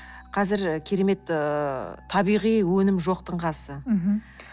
қазір керемет ыыы табиғи өнім жоқтың қасы